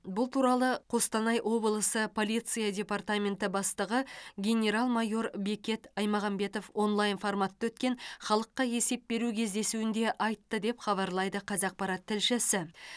бұл туралы қостанай облысы полиция департаменті бастығы генерал майор бекет аймағамбетов онлайн форматта өткен халыққа есеп беру кездесуінде айтты деп хабарлайды қазақпарат тілшісі